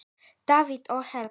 Davíð og Helga.